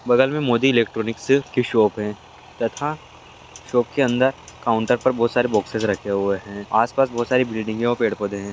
बगल में मोदी इलेक्ट्रॉनिक शिल्फ़ की शॉप है तथा शॉप के अंदर काउन्टर पर बहुत सारे बॉक्सेस रखे हुए हैआस-पास बहोत सारी बिल्डिंगे और पेड़-पौधे है।